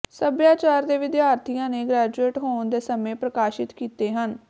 ਸਭਿਆਚਾਰ ਦੇ ਵਿਦਿਆਰਥੀਆਂ ਨੇ ਗ੍ਰੈਜੂਏਟ ਹੋਣ ਦੇ ਸਮੇਂ ਪ੍ਰਕਾਸ਼ਿਤ ਕੀਤੇ ਹਨ